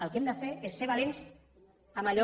el que hem de fer és ser valents amb allò